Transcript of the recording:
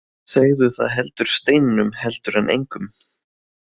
Segðu það heldur steininum heldur en engum.